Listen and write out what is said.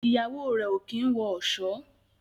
Ìyàwó rẹ o kín wọ ọṣọ.